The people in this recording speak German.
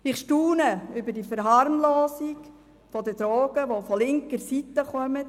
Ich staune über die Verharmlosung der Drogen, die von der linken Seite kommt.